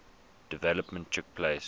development took place